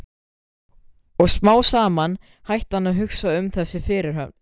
Og smám saman hætti hann að hugsa um þessa fyrirhöfn.